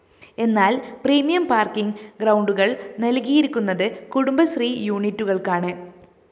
എന്നാല്‍ premium parking ഗ്രൗണ്ടുകള്‍ നല്‍കിയിരിക്കുന്നത് കുടുംബ ശ്രീ യൂണിറ്റുകള്‍ക്കാണ്